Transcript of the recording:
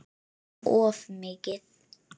Einum of mikið.